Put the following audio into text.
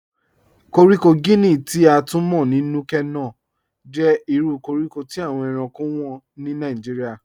Kọ̀ríkò Guinea, ti a tun mọ̀ ní Núkè-Nòh, jẹ́ ìrù kọ̀ríkò tí awọn èránkò wọ́n ni Nàìjíríà.